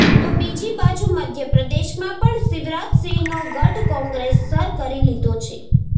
તો બીજી બાજુ મધ્યપ્રદેશમાં પણ શિવરાજસિંહનો ગઢ કોંગ્રેસ સર કરી લીધો છે